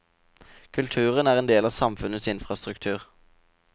Kulturen er en del av samfunnets infrastruktur.